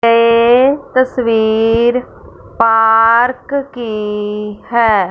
ये तस्वीर पार्क की है।